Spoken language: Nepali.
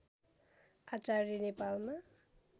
आचार्य नेपालमा